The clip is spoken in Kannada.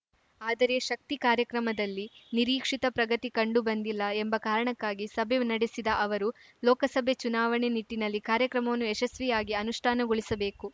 ಆದರೆ ಶಕ್ತಿ ಕಾರ್ಯಕ್ರಮದಲ್ಲಿ ನಿರೀಕ್ಷಿತ ಪ್ರಗತಿ ಕಂಡು ಬಂದಿಲ್ಲ ಎಂಬ ಕಾರಣಕ್ಕಾಗಿ ಸಭೆ ನಡೆಸಿದ ಅವರು ಲೋಕಸಭೆ ಚುನಾವಣೆ ನಿಟ್ಟಿನಲ್ಲಿ ಕಾರ್ಯಕ್ರಮವನ್ನು ಯಶಸ್ವಿಯಾಗಿ ಅನುಷ್ಠಾನಗೊಳಿಸಬೇಕು